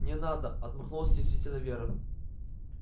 не надо отмахнулась стеснительно вера